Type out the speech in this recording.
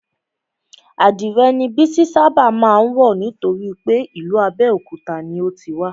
Adìrè ni Bísí ṣábà má ń wọ̀ nítorípé ìlú Abéòkúta ni o ti wá